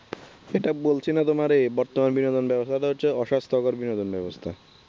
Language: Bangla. এটা বলছি না তোমারে বর্তমান বিনোদন ব্যবস্থাটা হচ্ছে অসাস্থ্যকর বিনোদন ব্যবস্থা